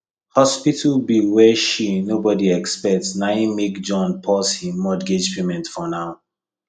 hospital bill wey she nobody expect naim make john pause him mortgage payment for now